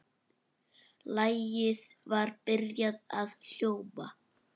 Lagið var byrjað að hljóma.